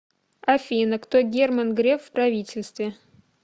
афина кто герман греф в правительстве